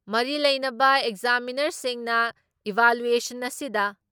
ꯃꯔꯤ ꯂꯩꯅꯕ ꯑꯦꯛꯖꯥꯃꯤꯅꯔꯁꯤꯡꯅ ꯏꯚꯥꯂꯨꯑꯦꯁꯟ ꯑꯁꯤꯗ